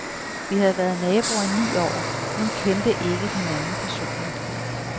Vi havde været naboer i ni år, men kendte ikke hinanden personligt.